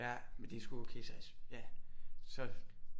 Ja men det er sgu okay ja så